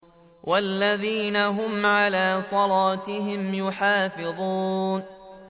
وَالَّذِينَ هُمْ عَلَىٰ صَلَاتِهِمْ يُحَافِظُونَ